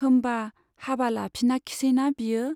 होम्बा हाबा लाफिनाखिसैना बियो ?